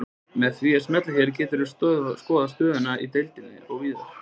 Með því að smella hérna geturðu skoðað stöðuna í deildinni og víðar.